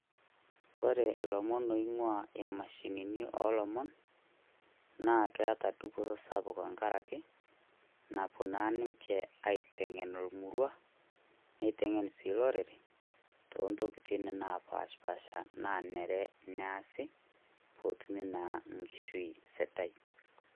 Kore ilomon loing'ua imashinini oolomon naa keeta dupoto sapuk tengaraki, naapuo naa ninche aiteng'en ormurua neiteng'en sii olorere toontokitin naapashapasha naa nare neasi pee etumi naa Enkishui sidai.